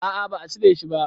A'a ba a cire shi ba